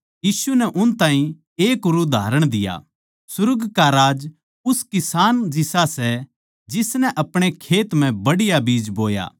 यीशु नै उन ताहीं एक और उदाहरण दिया सुर्ग का राज उस किसान जिसा सै जिसनै अपणे खेत मै बढ़िया बीज बोया